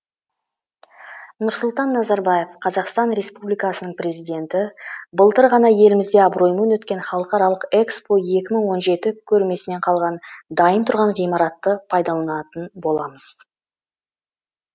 нұрсұлтан назарбаев қазақстан республикасының президенті былтыр ғана елімізде абыроймен өткен халықаралық экспо екі мың он жеті көрмесінен қалған дайын тұрған ғимаратты пайдаланатын боламыз